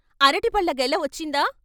అరటిపళ్ళ గెల వచ్చిందా?